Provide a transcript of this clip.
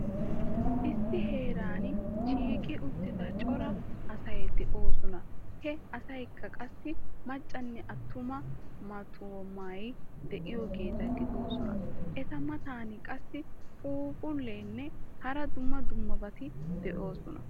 Issi heeran shiiqi uttida cora asay de'oosona. He asatikka qassi maccanne attuma mattumay de'iyoogeeta gidoosona. Eta matan qassi phuuphphulleenne hara dumma dummabati de'oosona.